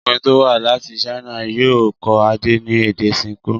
Ọkùnrin tó wá láti China yóò kọ́ Adé ní èdè Ṣinkó.